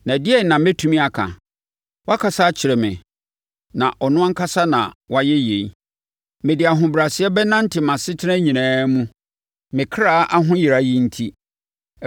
Na ɛdeɛn na mɛtumi aka? Wakasa akyerɛ me, na ɔno ankasa na wayɛ yei. Mede ahobrɛaseɛ bɛnante mʼasetena nyinaa mu me kra ahoyera yi enti.